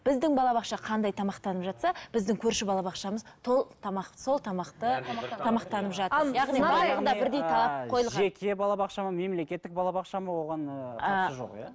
біздің балабақша қандай тамақтанып жатса біздің көрші балабақшамыз тамақ сол тамақты тамақтанып жатыр жеке балабақша ма мемлекеттік балабақша ма оған ыыы қатысы жоқ иә